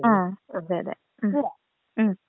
ആ അതെ അതെ ആ ഉം.